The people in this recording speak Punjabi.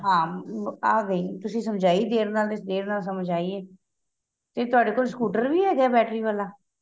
ਹਾਂ ਆਂ ਗਈ ਤੁਸੀਂ ਸਮਝਾਈ ਦੇਰ ਨਾਲ ਏ ਦੇਰ ਨਾਲ ਸਮਝ ਆਈ ਏ ਤੇ ਤੁਹਾਡੇ ਕੋਲ scooter ਵੀ ਹੈਗਾ battery ਵਾਲਾਂ